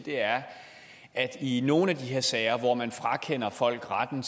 er at i nogle af de her sager hvor man frakender folk retten